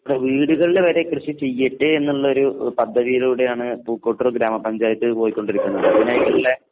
വീടുകളിൽ വരെ കൃഷി ചെയ്യട്ടെ എന്നുള്ളൊരു പദ്ധതിയിലൂടെയാണ് പൂക്കോട്ടൂർ ഗ്രാമപഞ്ചായത്ത് പൊയ്ക്കൊണ്ടിരിക്കുന്നത്. അതിനായി തന്നെ